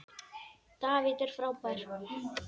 David er frábær.